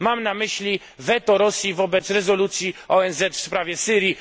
Mam na myśli weto Rosji wobec rezolucji ONZ w sprawie Syrii.